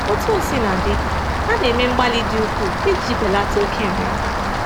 Otú o sina dị, a na-eme mgbalị dị ukwuu iji belata oke nria nria.